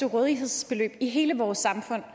rådighedsbeløb i hele vores samfund